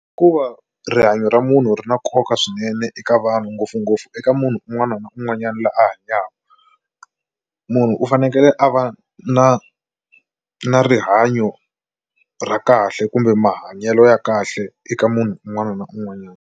Hikuva rihanyo ra munhu ri na nkoka swinene eka vanhu ngopfungopfu eka munhu un'wana na un'wanyani loyi a hanyaka munhu u fanekele a va na na rihanyo ra kahle kumbe mahanyelo ya kahle eka munhu un'wana na un'wanyana.